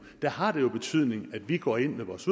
der har det jo betydning at vi går ind med vores